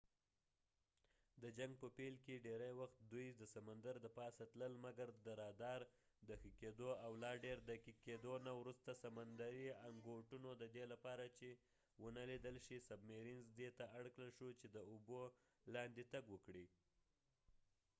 د جنګ په پیل کې ډیری وخت دوي د سمندر د پاسه تلل مګر د رادار د ښه کېدو او لا ډیر دقیق کېدو نه وروسته سمندرې انګوټونه submarines ددې لپاره چې ونه لیدل شي دي ته اړکړل شو چې داوبو لاندې تګ وکړي